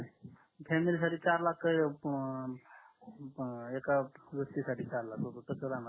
फॅमिलीसाठी चार लाख की एका व्यक्ति साथी चार लाख रुपये कस राहणार